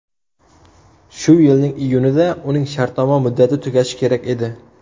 Shu yilning iyunida uning shartnoma muddati tugashi kerak edi.